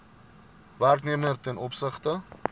werknemer ten opsigte